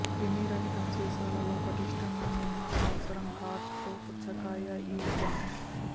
క్రిమిరహితం సీసాలలో పటిష్టంగా నిమ్మ అవసరం కార్క్ తో పుచ్చకాయ ఈ జామ్